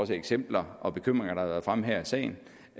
de eksempler og bekymringer der har været fremme her i sagen